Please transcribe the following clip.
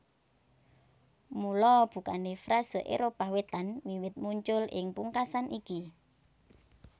Mula bukané frase Éropah Wétan wiwit muncul ing pungkasan iki